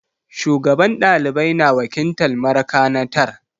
Shugaban ɗalibai na wakiltar marakanatar.